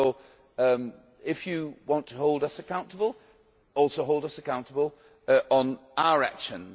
So, if you want to hold us accountable, also hold us accountable on our actions.